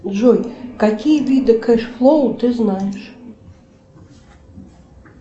джой какие виды кэш флоу ты знаешь